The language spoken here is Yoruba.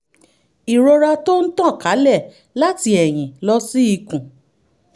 ìrora tó ń tàn kálẹ̀ láti ẹ̀yìn lọ sí ikùn